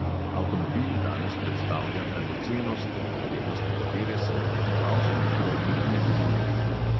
Avtomobil danes predstavlja dragocenost, o vrednosti katere se v poznavalskih krogih ne govori.